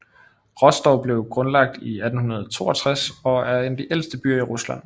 Rostov blev grundlagt i 862 og er en af de ældste byer i Rusland